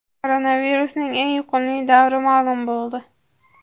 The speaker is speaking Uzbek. Koronavirusning eng yuqumli davri ma’lum bo‘ldi.